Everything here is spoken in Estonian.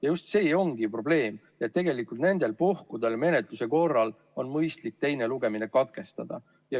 Ja just see ongi probleem, et tegelikult nendel puhkudel menetluse korral on mõistlik teine lugemine katkestada.